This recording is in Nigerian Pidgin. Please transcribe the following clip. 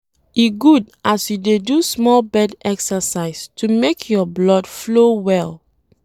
E good as you dey do small bed exercise to make your blood flow well.